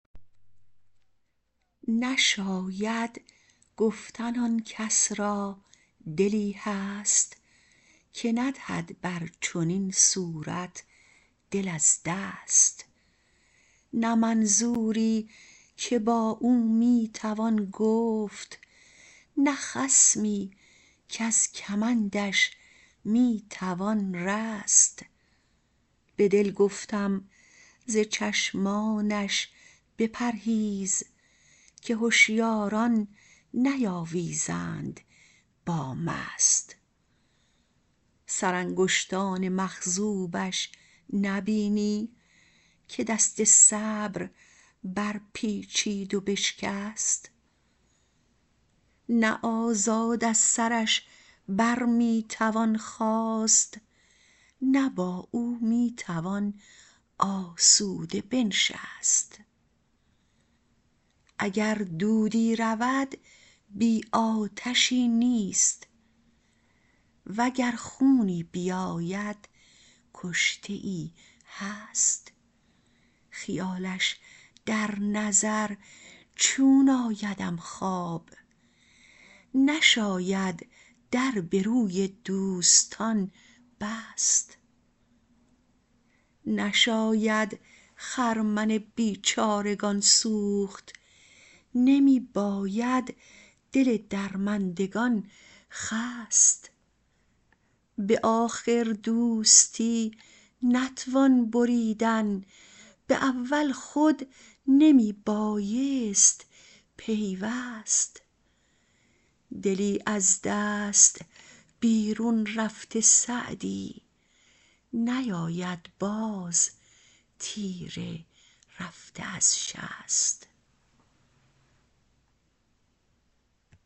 نشاید گفتن آن کس را دلی هست که ندهد بر چنین صورت دل از دست نه منظوری که با او می توان گفت نه خصمی کز کمندش می توان رست به دل گفتم ز چشمانش بپرهیز که هشیاران نیاویزند با مست سرانگشتان مخضوبش نبینی که دست صبر برپیچید و بشکست نه آزاد از سرش بر می توان خاست نه با او می توان آسوده بنشست اگر دودی رود بی آتشی نیست و گر خونی بیاید کشته ای هست خیالش در نظر چون آیدم خواب نشاید در به روی دوستان بست نشاید خرمن بیچارگان سوخت نمی باید دل درماندگان خست به آخر دوستی نتوان بریدن به اول خود نمی بایست پیوست دلی از دست بیرون رفته سعدی نیاید باز تیر رفته از شست